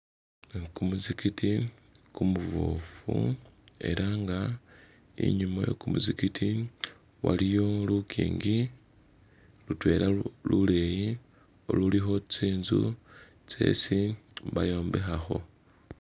Kumuzikiti kumuboofu era nga inyuma we kumuzikiti waliyo lukingi lutwela luleyi ululikho tsinzu tsesi bayombekhakho